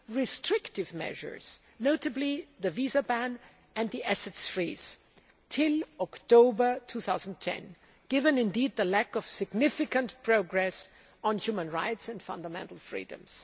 restrictive measures, notably the visa ban and the assets freeze, till October 2010, given the lack of significant progress on human rights and fundamental freedoms.